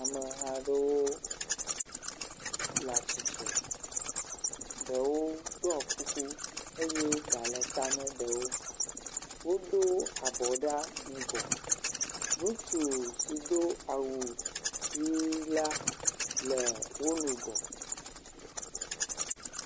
Ameha aɖewo le atsitre. Ɖewo ɖiɔ kuku eye ɖa le ta na ɖewo. Wodo abɔ ɖa ŋgɔ. Ŋutsu si do awu yii la le wo nu ŋgɔ.